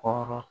Kɔrɔ